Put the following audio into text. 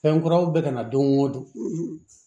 Fɛn kuraw bɛ ka na don o don